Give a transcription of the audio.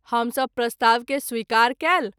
हम सभ प्रस्ताव के स्वीकार कएल।